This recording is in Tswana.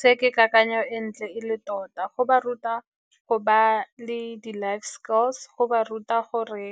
Se ke kakanyo e ntle e le tota, go ba ruta go ba le di-life skills, go ba ruta gore